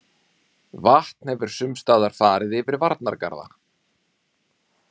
Vatn hefur sumstaðar farið yfir varnargarða